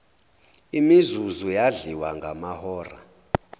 imizuzu yadliwa ngamahora